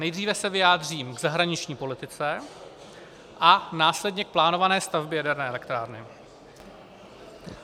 Nejdříve se vyjádřím k zahraniční politice a následně k plánované stavbě jaderné elektrárny.